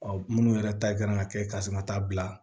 Ɔ minnu yɛrɛ ta kan ka kɛ ka sin ka taa bila